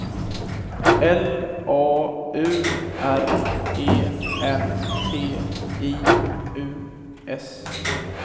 L A U R E N T I U S